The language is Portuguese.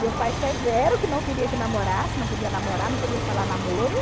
Meu pai severo, que não queria que namorasse, não podia namorar, não podia falar namoro.